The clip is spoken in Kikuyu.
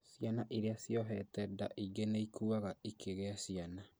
Ciana iria ciohete nda ingĩ nĩikuaga ikĩgĩa ciana